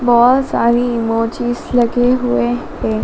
बहोत सारी इमोजीस लगे हुए हैं।